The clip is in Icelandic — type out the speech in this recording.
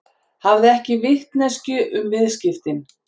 Hafði ekki vitneskju um viðskiptin